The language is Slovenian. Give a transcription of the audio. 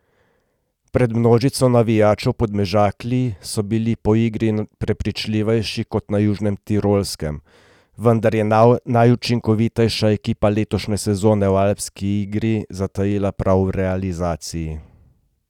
Pred množico navijačev v Podmežakli so bili po igri prepričljivejši kot na Južnem Tirolskem, vendar je najučinkovitejša ekipa letošnje sezone v alpski ligi zatajila prav v realizaciji.